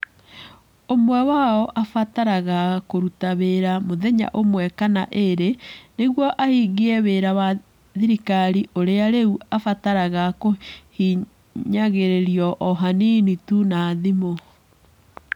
Ũmwe wao aabataraga kũruta wĩra mũthenya ũmwe kana ĩĩrĩ nĩguo ahingie wĩra wa thirikari ũrĩa rĩu ũbataraga kũhihinyagĩrĩrio o hanini tu na thimũ.